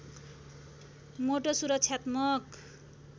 मोटो सुरक्षात्मक